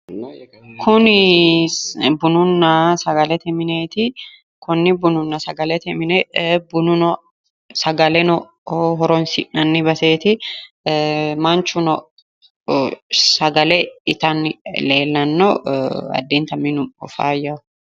Kuni bununna sagalete mineeti konni bununna sagalete mine bunano sagaleno horonsi'nanni baseeti manchuno sagale itanni leellanno addintanni minu faayyaho.